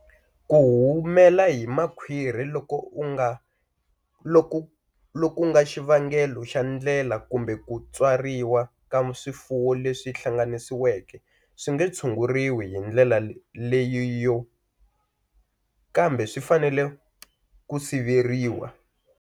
Ku humela hi makhwiri loku nga xivangelo xa ndlela kumbe ku tswariwa ka swifuwo leswi hlanganisiwe swi nge tshunguriwi hi ndlela leyiyo, kambe swi fanele ku siveriwa.